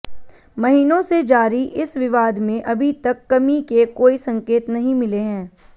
महीनों से जारी इस विवाद में अभी तक कमी के कोई संकेत नहीं मिले हैं